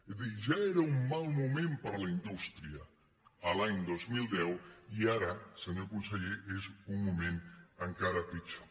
és a dir ja era un mal moment per a la indústria l’any dos mil deu i ara senyor conseller és un moment encara pitjor